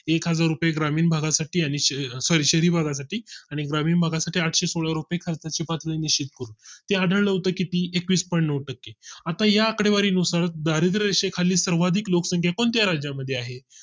एकहजार रुपये ग्रामीण भागा साठी आणि सर Sorry शहरी भागसाठी आणि ग्रामीण भागासाठी आठशे सोळा रुपये खर्चाची पातळी निश्चित केलं होत ते आढळलं होत किती तर एकवीस Point नऊ टक्के. आता या आकडेवारी नुसार दारिद्रय़रेषे खाली सर्वाधिक लोकसंख्या कोणत्या राज्यां मध्ये आहे